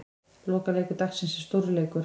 Lokaleikur dagsins er stórleikur.